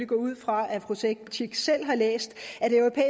går ud fra fru cekic selv har læst